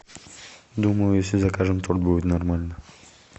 думаю если закажем то будет нормально